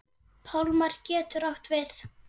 Pálmar getur átt við